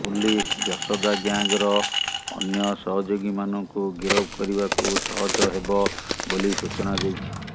police Yashoda ଗ୍ୟାଙ୍ଗର ଅନ୍ୟ ସହଯୋଗୀମାନଙ୍କୁ ଗିରଫ କରିବାକୁ ସହଜ ହେବ ବୋଲି ସୂଚନା ଦେଇଛି